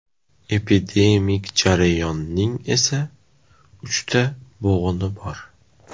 Epidemik jarayonning esa uchta bo‘g‘ini bor.